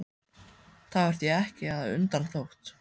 Það var því ekki að undra þótt